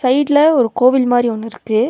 சைடுல ஒரு கோவில் மாரி ஒன்னுருக்கு.